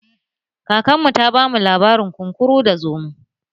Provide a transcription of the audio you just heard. Kakar mu ta ba mu labarin kunkuru da zomo